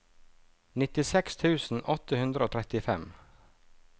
nittiseks tusen åtte hundre og trettifem